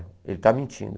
Ele está mentindo.